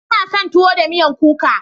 Ina son tuwo da miyan kuka.